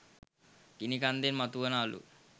ගිනි කන්දෙන් මතු වුන අළු